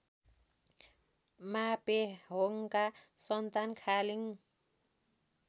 मापेहोङका सन्तान खालिङ